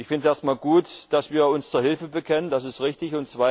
Ich finde es erst einmal gut, dass wir uns zur Hilfe bekennen, das ist richtig.